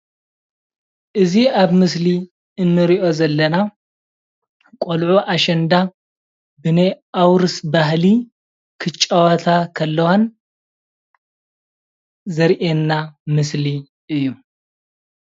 እዚ ኣብ ምሰሊ እንሪኦ ዘለና ቆልዑ ኣሸንዳ ብናይ ኣውርስ ባህሊ ክጫወታ ከለዋን ዘርኢና ምስሊ እዩ፡፡